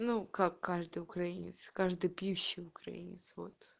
ну как каждый украинец каждый пьющий украинец вот